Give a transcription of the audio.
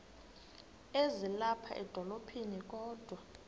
ezilapha edolophini kodwa